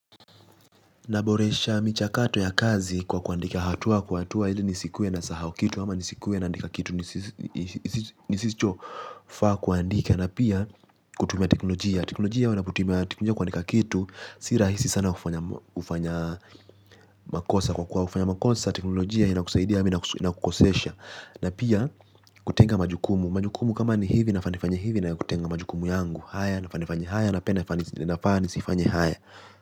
Na boresha micha kato ya kazi kwa kuandika hatua kwa kuatua ili nisikuwe na sahau kitu ama nisikuwe naandika kitu nisicho faa kuandika na pia kutumia teknolojia. Teknolojia wanaputumia teknolojia kuandika kitu sirahisi sana ufanya makosa kwa kuwa ufanya makosa. Teknolojia ina kusaidia ama kukosesha. Na pia kutenga majukumu. Majukumu kama ni hivi nafa nefanyi hivi na kutenga majukumu yangu. Haya nafaa nifanye haya na pia nafaa nisifanye haya.